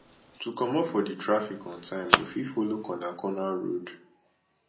to comot for di traffic on time you fit follow corner corner road